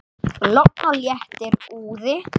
Logn og léttur úði.